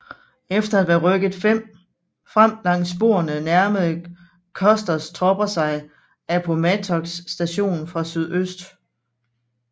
Efter at være rykket frem langs sporene nærmede Custers tropper sig Appomattox Station fra sydøst